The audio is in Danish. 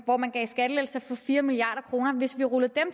hvor man gav skattelettelser for fire milliard kroner hvis vi rullede dem